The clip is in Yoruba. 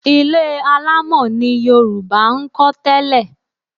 Ilé alámọ̀ ni Yorùbá ń kọ́ tẹ́lẹ̀